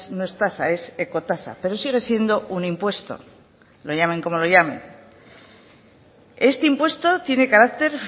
no es tasa es ecotasa pero sigue siendo un impuesto lo llamen como lo llamen este impuesto tiene carácter